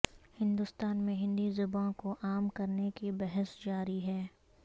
ہندوستان میں ہندی زبان کو عام کرنے کی بحث جاری ہے